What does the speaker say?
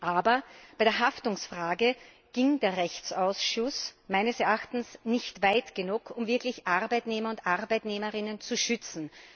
Aber bei der Haftungsfrage ging der Rechtsausschuss meines Erachtens nicht weit genug, um Arbeitnehmer und Arbeitnehmerinnen wirklich zu schützen.